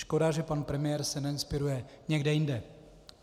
Škoda, že pan premiér se neinspiruje někde jinde.